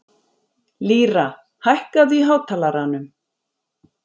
Lýra, hækkaðu í hátalaranum.